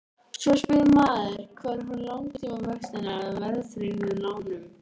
Svo spyr maður hvar eru langtímavextirnir af verðtryggðum lánum?